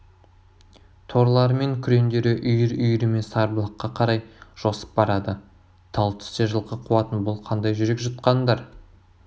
торылары мен күреңдері үйір-үйірімен сарбұлаққа қарай жосып барады тал түсте жылқы қуатын бұл қандай жүрек жұтқандар